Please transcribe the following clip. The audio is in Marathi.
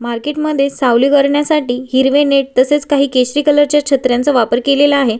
मार्केट मध्ये सावली करण्यासाठी हिरवे नेट तसेच काही केशरी कलर च्या छत्र्यांचा वापर केलेला आहे.